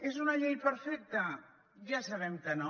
és una llei perfecta ja sabem que no